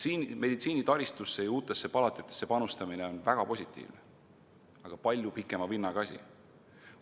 Meditsiinitaristusse ja uutesse palatisse panustamine on väga positiivne, aga palju pikema vinnaga asi.